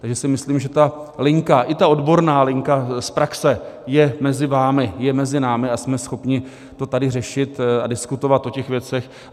Takže si myslím, že ta linka, i ta odborná linka z praxe je mezi vámi, je mezi námi a jsme schopni to tady řešit a diskutovat o těch věcech.